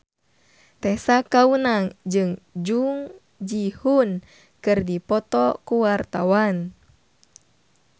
Tessa Kaunang jeung Jung Ji Hoon keur dipoto ku wartawan